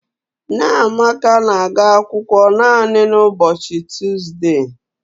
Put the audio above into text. Nneamaka na-aga akwụkwọ naanị n'ụbochị Tuuzde